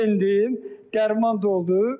Dərman doldu.